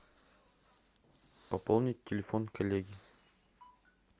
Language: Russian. пополнить телефон коллеги